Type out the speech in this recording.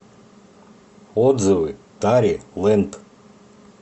отзывы тари лэнд